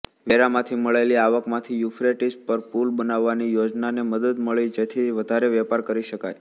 વેરામાંથી મળેલી આવકમાંથી યુફ્રેટીસ પર પુલ બનાવવાની યોજનાને મદદ મળી જેથી વધારે વેપાર કરી શકાય